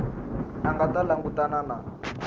a nga ta langutana na